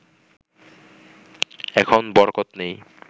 এখন বরকত নেই